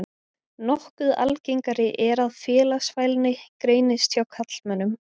Nokkuð algengara er að félagsfælni greinist hjá karlmönnum.